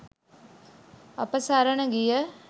අප සරණ ගිය